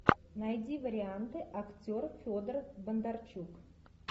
найди варианты актер федор бондарчук